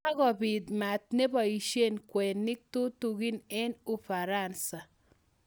Kakopit maaat nepoishe kweinik tutigin eng Ufaransa